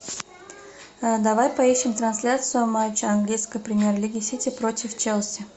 давай поищем трансляцию матча английской премьер лиги сити против челси